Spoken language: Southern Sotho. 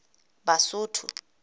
basotho